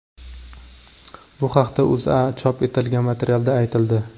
Bu haqda O‘zAda chop etilgan materialda aytildi .